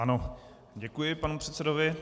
Ano, děkuji panu předsedovi.